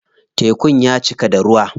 Tekun ya cika da ruwa.